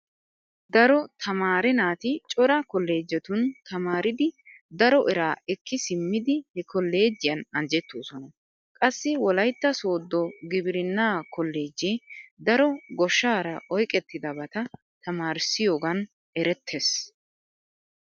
Daro tamaare naati cora kolloojjetun tamaaridi daro eraa ekki simmidi he kolloojjiyan anjettoosona. Qassi wolaytta sooddo gibirinnaa kolloojjee daro goshshaara oyqettidabata tamaarissiyogan erettees.